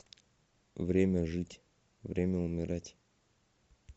время жить время умирать